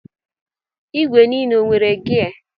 Igwe n'ile enwere gia?